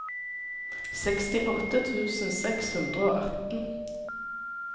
sekstiåtte tusen seks hundre og atten